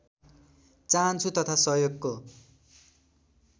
चाहन्छु तथा सहयोगको